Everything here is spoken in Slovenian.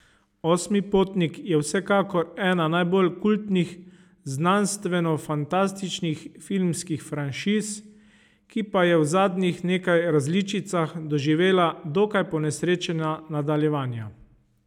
Osmi potnik je vsekakor ena najbolj kultnih znanstvenofantastičnih filmskih franšiz, ki pa je v zadnjih nekaj različicah doživela dokaj ponesrečena nadaljevanja.